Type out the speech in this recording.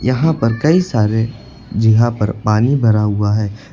यहां पर कई सारे जगह पर पानी भरा हुआ है।